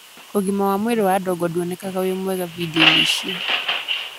ũgima wa mwĩrĩ wa Adongo ndwonekaga ũ mwega bindiũ-inĩ icio.